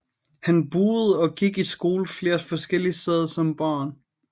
Han boede og gik i skole flere forskellige steder som barn